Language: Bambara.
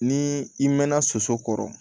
Ni i mɛnna soso kɔrɔ